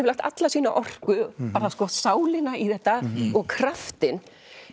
lagt alla sína orku bara sálina í þetta og kraftinn